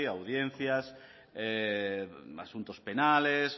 audiencias asuntos penales